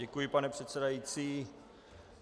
Děkuji, pane předsedající.